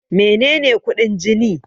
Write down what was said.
Mene ne kuɗin jini?